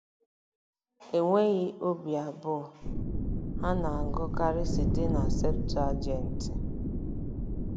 Enweghị obi abụọ, ha na-agụkarị site na Septụaginti.